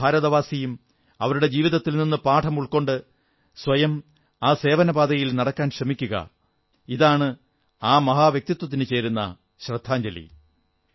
ഓരോ ഭാരതവാസിയും അവരുടെ ജീവിതത്തിൽ നിന്നു പാഠമുൾക്കൊണ്ട് സ്വയം ആ സേവനപാതയിൽ നടക്കാൻ ശ്രമിക്കുക ഇതാണ് ആ മഹാ വ്യക്തിത്വത്തിന് ചേരുന്ന ശ്രദ്ധാഞ്ജലി